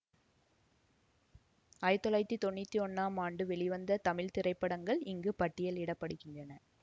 ஆயிரத்தி தொள்ளாயிரத்தி தொன்னூற்தி ஒன்றாம் ஆண்டு வெளிவந்த தமிழ் திரைப்படங்கள் இங்கு பட்டியலிட படுகின்றன